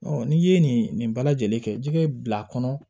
n'i ye nin bɛɛ lajɛlen kɛ jɛgɛ bil'a kɔnɔ